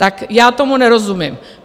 Tak já tomu nerozumím.